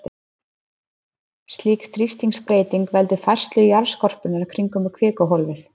Slík þrýstingsbreyting veldur færslu jarðskorpunnar kringum kvikuhólfið.